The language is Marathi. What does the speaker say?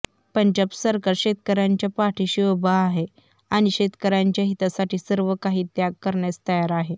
पंजाब सरकार शेतकऱ्यांच्या पाठीशी उभं आहे आणि शेतकऱ्यांच्या हितासाठी सर्वकाही त्याग करण्यास तयार आहे